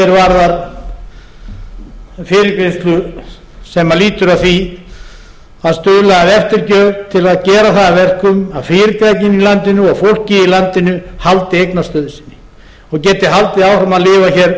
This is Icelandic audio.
sem mest samstaða reglur að því er varðar fyrirgreiðslu sem lýtur að því að stuðla að eftirgjöf til að gera það að verkum að fyrirtækin í landinu og fólkið í landinu haldi eigna stöðu sinni og geti haldið áfram að lifa hér